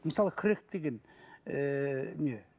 мысал крек деген ыыы не